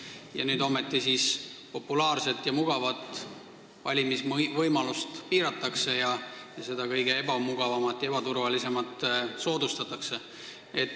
Aga nüüd populaarset ja mugavat valimisvõimalust piiratakse ning kõige ebamugavamat ja ebaturvalisemat soodustatakse.